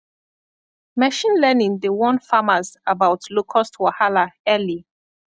machine learning dey warn farmers about locust wahala early